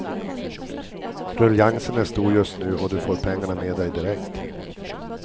Ruljangsen är stor just nu och du får pengarna med dig direkt.